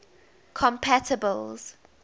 compatibles